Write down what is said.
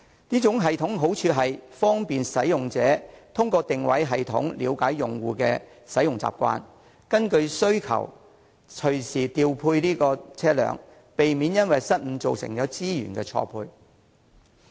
這種系統的好處是方便使用者，並可通過定位系統了解用戶的使用習慣，根據需求隨時調配車輛，避免因為失誤造成資源錯配。